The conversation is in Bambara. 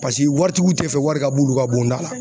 Pasiki waritigiw tɛ fɛ wari ka b'olu ka bonda la.